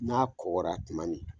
N'a kɔgɔra tuma min.